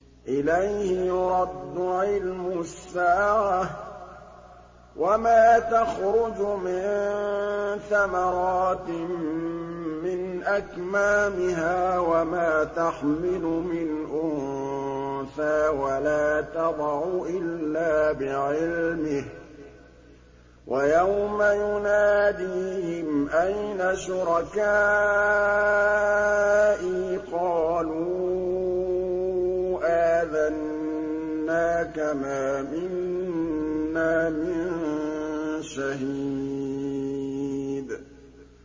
۞ إِلَيْهِ يُرَدُّ عِلْمُ السَّاعَةِ ۚ وَمَا تَخْرُجُ مِن ثَمَرَاتٍ مِّنْ أَكْمَامِهَا وَمَا تَحْمِلُ مِنْ أُنثَىٰ وَلَا تَضَعُ إِلَّا بِعِلْمِهِ ۚ وَيَوْمَ يُنَادِيهِمْ أَيْنَ شُرَكَائِي قَالُوا آذَنَّاكَ مَا مِنَّا مِن شَهِيدٍ